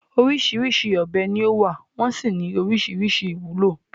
Oríṣìíríṣìí ọ̀bẹ ni ó wà, wọ́n sì ní oríṣìíríṣìí ìwúlò.